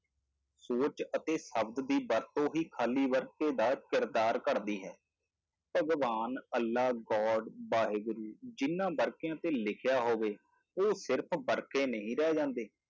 ਸੋਚ ਅਤੇ ਸ਼ਬਦ ਦੀ ਵਰਤੋਂ ਹੀ ਖਾਲੀ ਵਰਕੇ ਦਾ ਕਿਰਦਾਰ ਘੜਦੀ ਹੈ, ਭਗਵਾਨ, ਅੱਲਾ god ਵਾਹਿਗੁਰੂ ਜਿਹਨਾਂ ਵਰਕਿਆਂ ਤੇ ਲਿਖਿਆ ਹੋਵੇ ਉਹ ਸਿਰਫ਼ ਵਰਕੇ ਨਹੀਂ ਰਹਿ ਜਾਂਦੇ